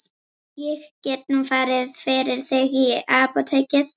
Ég get nú farið fyrir þig í apótekið.